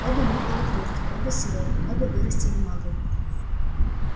оба мы полукровки оба сироты оба вырастили маглы